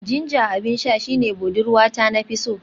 Ginger abin sha shine budurwata na fi so